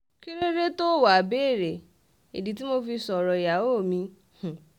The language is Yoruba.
kí ló dé tóò wáá béèrè ìdí tí mo fi sọ̀rọ̀ ìyàwó mi um